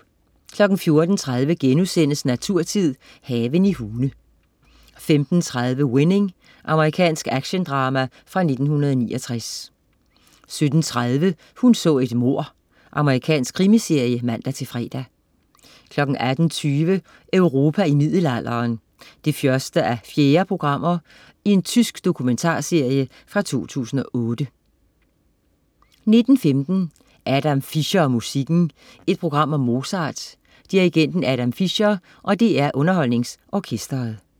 14.30 Naturtid. Haven i Hune* 15.30 Winning. Amerikansk actiondrama fra 1969 17.30 Hun så et mord. Amerikansk krimiserie (man-fre) 18.20 Europa i middelalderen 1:4. Tysk dokumentarserie fra 2008 19.15 Adam Fischer og musikken. Et program om Mozart, dirigenten Adam Fischer og DR UnderholdningsOrkestret